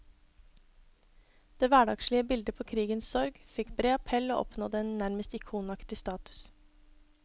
Det hverdagslige bildet på krigens sorg fikk bred appell og oppnådde en nærmest ikonaktig status.